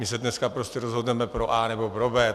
My se dneska prostě rozhodneme pro A nebo pro B.